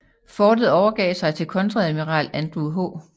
Fortet overgav sig til kontreadmiral Andrew H